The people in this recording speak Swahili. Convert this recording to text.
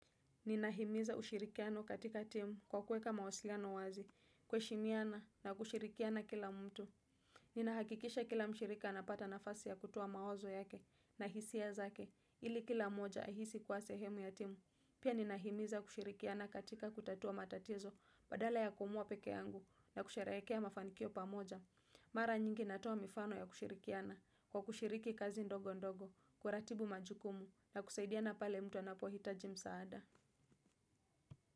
Ninahimiza ushirikiano katika timu kwa kuweka mawasiliano wazi, kuheshimiana na kushirikiana kila mtu. Ninahakikisha kila mshirika anapata nafasi ya kutoa mawazo yake na hisia zake ili kila mmoja ahisi kuwa sehemu ya timu. Pia ninahimiza kushirikiana katika kutatua matatizo badala ya kuamua pekee yangu na kusherehekea mafanikio pamoja. Mara nyingi natoa mifano ya kushirikiana kwa kushiriki kazi ndogo ndogo, kuratibu majukumu na kusaidiana pale mtu anapohitaji msaada.